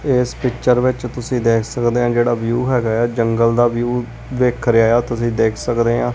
ਇਸ ਪਿਕਚਰ ਵਿੱਚ ਤੁਸੀਂ ਦੇਖ ਸਕਦੇ ਹ ਜਿਹੜਾ ਵਿਊ ਹੈਗਾ ਆ ਜੰਗਲ ਦਾ ਵਿਊ ਵੇਖ ਕਰਿਆ ਆ ਤੁਸੀਂ ਦੇਖ ਸਕਦੇ ਆ।